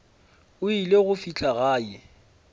o ile go fihla gae